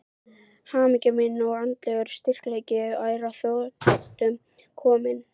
Hamingja mín og andlegur styrkleiki er að þrotum kominn.